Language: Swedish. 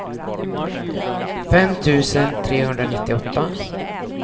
fem tusen trehundranittioåtta